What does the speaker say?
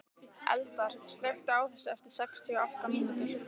Eldar, slökktu á þessu eftir sextíu og átta mínútur.